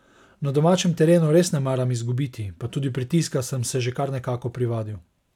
Na domačem terenu res ne maram izgubiti, pa tudi pritiska sem se že kar nekako privadil.